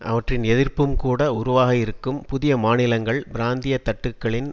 அவற்றின் எதிர்ப்பும் கூட உருவாக இருக்கும் புதிய மாநிலங்கள் பிராந்திய தட்டுக்களின்